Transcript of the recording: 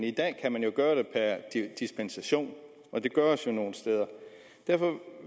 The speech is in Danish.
i dag kan man gøre det per dispensation og det gøres jo nogle steder derfor